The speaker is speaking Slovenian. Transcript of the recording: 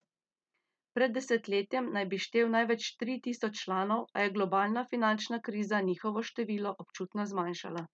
Pred desetletjem naj bi štel največ tri tisoč članov, a je globalna finančna kriza njihovo število občutno zmanjšala.